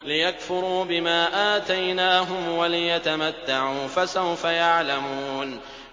لِيَكْفُرُوا بِمَا آتَيْنَاهُمْ وَلِيَتَمَتَّعُوا ۖ فَسَوْفَ يَعْلَمُونَ